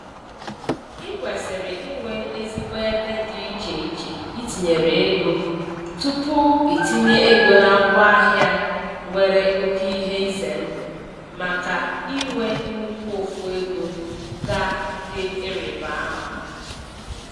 I kwesịrị inwe ezigbo ebe dị iche iche itinyere ego tupu itinye ego na ngwaahịa nwere oke ihe ize ndụ maka i nwe nnukwu ụfụ ego ga dị ịrịbama.